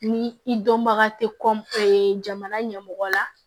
Ni i dɔnbaga tɛ jamana ɲɛmɔgɔ la